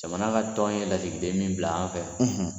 Jamana ka tɔn ye lasigiden min bila an fɛ